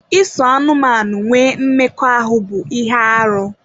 Iso anụmanụ nwee mmekọahụ bụ ihe arụ.